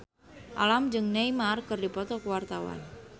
Alam jeung Neymar keur dipoto ku wartawan